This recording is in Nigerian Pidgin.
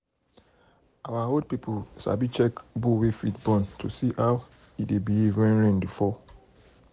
our um old people um sabi check bull wey fit born if they see how e behave when rain dey fall. um